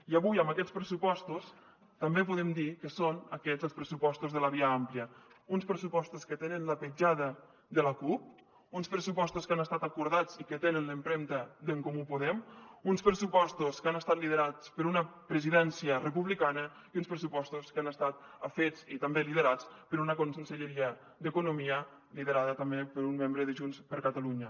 i avui amb aquests pressupostos també podem dir que són aquests els pressupostos de la via àmplia uns pressupostos que tenen la petjada de la cup uns pressupostos que han estat acordats i que tenen l’empremta d’en comú podem uns pressupostos que han estat liderats per una presidència republicana i uns pressupostos que han estat fets i també liderats per una conselleria d’economia liderada també per un membre de junts per catalunya